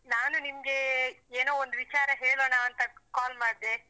ನಾನು ನಿಮ್ಗೆ ಏನೋ ಒಂದು ವಿಚಾರ ಹೇಳೋಣಾ ಅಂತ call ಮಾಡ್ದೆ.